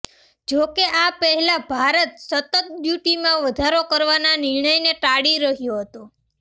જોકે આ પહેલા ભારત સતત ડ્યુટીમાં વધારો કરવાના નિર્ણયને ટાળી રહ્યો હતો